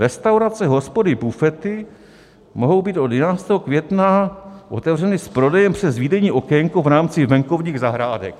Restaurace, hospody, bufety mohou být od 11. května otevřeny s prodejem přes výdejní okénko v rámci venkovních zahrádek.